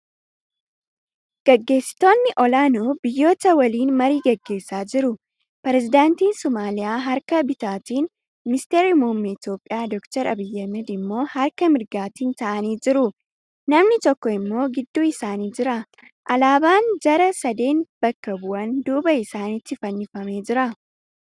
Gaggeessitoonni ol'aanoo biyyoota waliin marii gaggeessaa jiru. Pirezidaantiin Somaaliyaa harka bitaatiin; ministeerri muummee Itiyoophiyaa Dr. Abiyyi Ahmad immoo harka mirgaatiin taa'anii jiru. Namni tokko immoo gidduu isaanii jira. Alaabaan jara sadeen bakka bu'an duuba isaaniitti fannifamee jira.